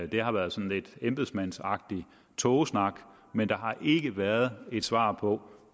det har været sådan lidt embedsmændsagtig tågesnak men der har ikke været et svar på